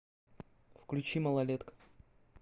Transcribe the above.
включи малолетка